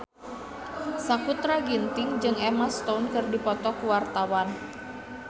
Sakutra Ginting jeung Emma Stone keur dipoto ku wartawan